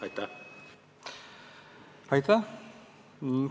Aitäh!